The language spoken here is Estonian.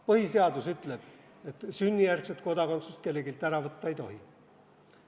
Põhiseadus ütleb, et sünnijärgset kodakondsust kelleltki ära võtta ei tohi.